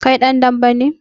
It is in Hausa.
Kai dan dambe ne?